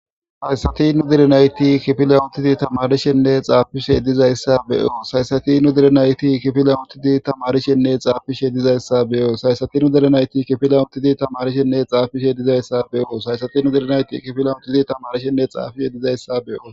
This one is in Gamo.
Haysati nu deri nayti kifilan untidi tamarishenne xaafishe dizayssa beyos , haysati nu der nayti kifilan untidi tamarishenne xaafishe dizayssa beyoos haysati nu dere nayti kifilan untidi tamarishenne xaafishe dizayssa beyoos haysati nu dere nayti kifilan utidi tamarishenne xaafishe dizayssa beyoos.